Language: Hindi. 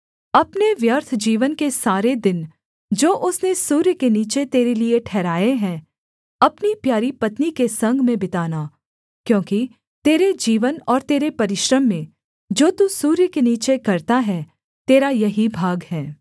अपने व्यर्थ जीवन के सारे दिन जो उसने सूर्य के नीचे तेरे लिये ठहराए हैं अपनी प्यारी पत्नी के संग में बिताना क्योंकि तेरे जीवन और तेरे परिश्रम में जो तू सूर्य के नीचे करता है तेरा यही भाग है